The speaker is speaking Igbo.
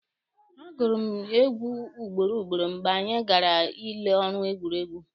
A gụrụ m egwu ugboro ugboro mgbe anyị gara ile ọrụ egwuregwu.